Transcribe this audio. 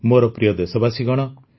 ମୋର ପ୍ରିୟ ଦେଶବାସୀଗଣ